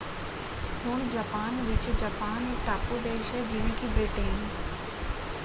ਹੁਣ ਜਾਪਾਨ ਵਿੱਚ ਜਾਪਾਨ ਇਕ ਟਾਪੂ ਦੇਸ਼ ਹੈ ਜਿਵੇਂ ਕਿ ਬ੍ਰਿਟੇਨ।